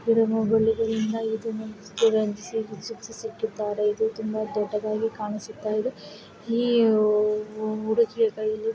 ಈ ಒಂದು ಮೂರುತಿಯ ಕೈಯಲ್ಲಿ ಇಟ್ಟಿದ್ದಾರೆ ಇದು ತುಂಬಾ ದೊಡ್ಡದಾಗಿ ಕಾಣಿಸುತ್ತಾ ಇದೆ. ಈ--